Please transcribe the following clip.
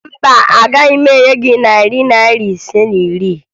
Mba, agaghị m enye gị narị Naira ise na iri